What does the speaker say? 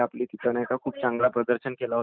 खूप चांगली आहे म्हणजे विकेट वैगरे घेतली आहे